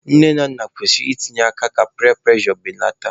Nne na nna kwesịrị i tinye aka ka piya prụrejọ beleta.